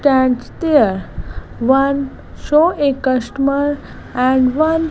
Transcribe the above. tent there one show a customer and one --